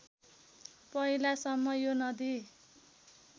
पहिलासम्म यो नदी